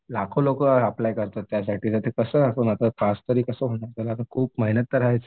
लाखों लोकं अप्लाय करतात त्यासाठी. कसं होणार ते पास तरी कसं होणार त्याला आता खूप मेहनत तर हायच.